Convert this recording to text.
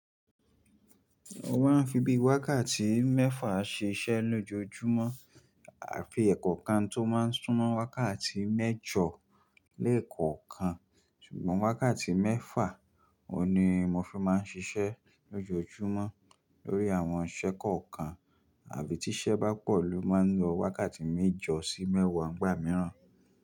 Wọ́n á fi bí i wákàtí mẹ́fà ṣiṣẹ́ lójoojúmọ́. À fi ẹ̀kọ̀kan tó máa ń súnmọ́ wákàtí méjọ lẹ́ẹ̀kọ̀kan. Ṣùgbọ́n wákàtí mẹ́fà ohun ni mo fi máa ń ṣiṣẹ́ lójoojúmọ́ lórí àwọn iṣẹ́ kọ̀ọ̀kan. Àbí tí iṣẹ́ bá pọ̀ ló máa ń lo wákàtí méjọ sí mẹ́wàá, ngbà mìíràn.